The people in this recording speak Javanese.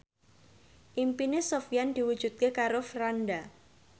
impine Sofyan diwujudke karo Franda